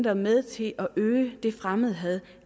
er med til at øge fremmedhadet